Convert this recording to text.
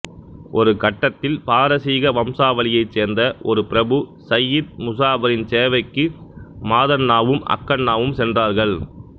ஒரு கட்டத்தில் பாரசீக வம்சாவளியைச் சேர்ந்த ஒரு பிரபு சையீத் முசாபரின் சேவைக்கு மாதண்ணாவும் அக்கண்ணாவும் சென்றார்கள்